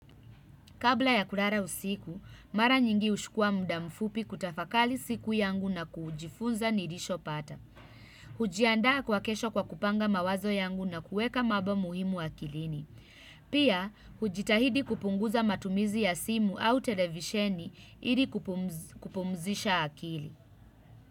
Kabla ya kulala usiku, mara nyingi huchukua muda mfupi kutafakari siku yangu na kujifunza nilichopata. Hujiandaa kwa kesho kwa kupanga mawazo yangu na kuweka mambo muhimu akilini. Pia, hujitahidi kupunguza matumizi ya simu au televisheni ili kupumzisha akili.